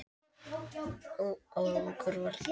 Árangur varð lítill.